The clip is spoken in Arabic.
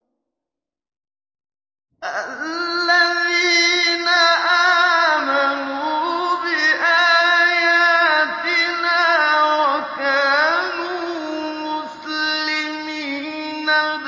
الَّذِينَ آمَنُوا بِآيَاتِنَا وَكَانُوا مُسْلِمِينَ